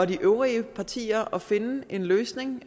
de øvrige partier og finde en løsning